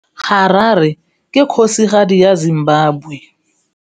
Harare ke kgosigadi ya Zimbabwe.